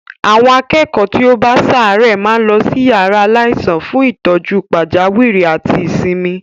Àwọn akẹ́kọ̀ọ́ tí ó bá ń ṣàárẹ̀ máa ń lọ sí yàrá aláìsàn fún ìtọ́jú pàjáwìrì àti ìsinmi.